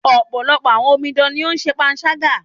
Ọ̀pọ̀lọpọ̀ àwọn omidan ní o ń ṣe panṣágà.